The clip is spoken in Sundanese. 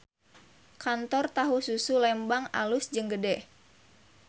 Kantor Tahu Susu Lembang alus jeung gede